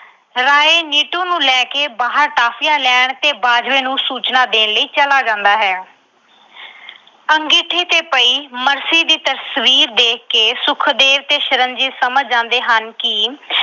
ਰਾਏ ਨਿੱਟੂ ਨੂੰ ਲੈ ਕੇ ਬਾਹਰ toffies ਲੈਣ ਤੇ ਬਾਜਵੇ ਨੂੰ ਸੂਚਨਾ ਦੇਣ ਲਈ ਚਲਾ ਜਾਂਦਾ ਹੈ। ਅੰਗੀਠੀ ਤੇ ਪਈ ਮਰਸੀ ਦੀ ਤਸਵੀਰ ਦੇਖ ਕੇ ਸੁਖਦੇਵ ਤੇ ਸ਼ਰਨਜੀਤ ਸਮਝ ਜਾਂਦੇ ਹਨ ਕਿ